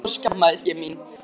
Þá skammaðist ég mín.